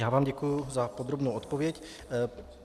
Já vám děkuji za podrobnou odpověď.